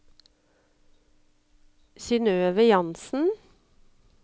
Synnøve Jansen